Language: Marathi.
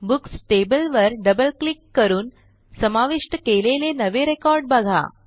बुक्स टेबल वर डबल क्लिक करून समाविष्ट केलेले नवे रेकॉर्ड बघा